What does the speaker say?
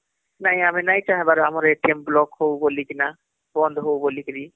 ନାଇଁ ଆମେ ନାଇଁ ଚାହେବାର ଆମର block ହଉ ବୋଳିକି ବନ୍ଦ ହଉ ବୋଲି କିରି